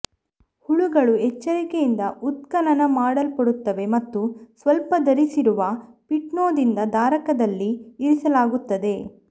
ಹುಳುಗಳು ಎಚ್ಚರಿಕೆಯಿಂದ ಉತ್ಖನನ ಮಾಡಲ್ಪಡುತ್ತವೆ ಮತ್ತು ಸ್ವಲ್ಪ ಧರಿಸಿರುವ ಪೀಟ್ನೊಂದಿಗೆ ಧಾರಕದಲ್ಲಿ ಇರಿಸಲಾಗುತ್ತದೆ